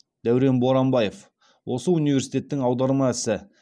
дәурен боранбаев осы университеттің аударма ісі